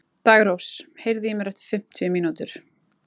Daggrós, heyrðu í mér eftir fimmtíu mínútur.